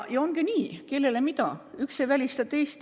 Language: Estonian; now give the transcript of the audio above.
Ja ongi nii, kellele mida: üks ei välista teist.